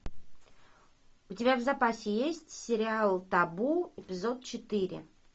у тебя в запасе есть сериал табу эпизод четыре